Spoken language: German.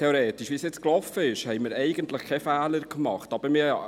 Theoretisch haben wir fachlich keinen Fehler gemacht, so, wie es gelaufen ist.